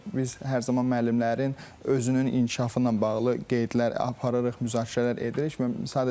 Biz hər zaman müəllimlərin özünün inkişafı ilə bağlı qeydlər aparırıq, müzakirələr edirik.